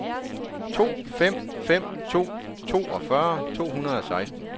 to fem fem to toogfyrre to hundrede og seksten